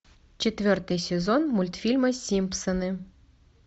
четвертый сезон мультфильма симпсоны